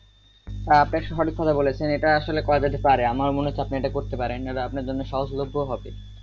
আপনি সঠিক কথা বলেছেন এটা আসলে করা যেতে পারে আমার মনে হচ্ছে আপনি এটা করতে পারেন আপনার জন্য সহজলভ্য হবে